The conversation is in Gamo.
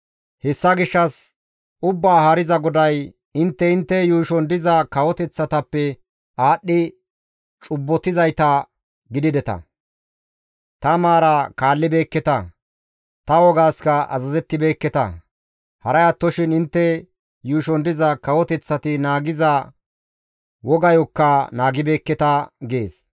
Hessa gishshas Ubbaa Haariza GODAY, «Intte intte yuushon diza kawoteththatappe aadhdhi cubbotizayta gidideta; ta maara kaallibeekketa; ta wogaaskka azazettibeekketa; haray attoshin intte yuushon diza kawoteththati naagiza wogayokka naagibeekketa» gees.